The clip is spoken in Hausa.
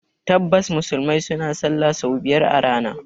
Tabbas, Musulmai suna sallah sau biyar a rana